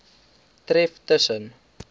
tref tus sen